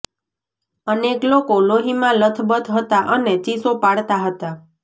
અનેક લોકો લોહીમાં લથબથ હતાં અને ચીસો પાડતાં હતાં